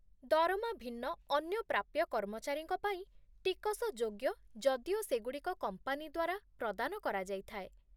ଦରମା ଭିନ୍ନ ଅନ୍ୟ ପ୍ରାପ୍ୟ କର୍ମଚାରୀଙ୍କ ପାଇଁ ଟିକସଯୋଗ୍ୟ ଯଦିଓ ସେଗୁଡ଼ିକ କମ୍ପାନୀ ଦ୍ୱାରା ପ୍ରଦାନ କରାଯାଇଥାଏ।